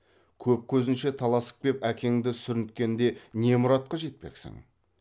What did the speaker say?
көп көзінше таласып кеп әкеңді сүрінткенде не мұратқа жетпексің